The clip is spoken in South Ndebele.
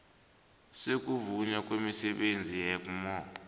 sokuvunywa kwemisebenzi yegmo